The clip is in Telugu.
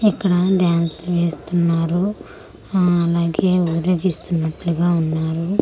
ఇక్కడ డ్యాన్స్ వేస్తున్నారు ఆ అలాగే ఊరేగిస్తూవున్నట్లు గా ఉన్నారు.